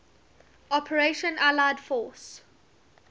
operation allied force